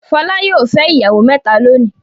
Fọlá yóò fẹ́ ìyàwó mẹ́ta lónìí.